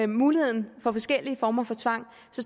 muligheden for forskellige former for tvang